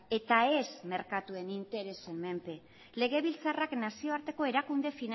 eta ez merkatuen interesen menpe legebiltzarrak nazioarteko erakunde